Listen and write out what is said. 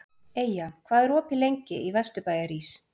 Eyja, hvað er opið lengi í Vesturbæjarís?